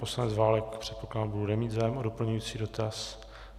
Poslanec Válek, předpokládám, bude mít zájem o doplňující dotaz.